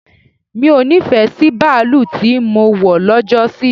Mi o nífẹ̀ẹ́ sí baalú tí mọ wọ̀ lọ́jọ́ sí.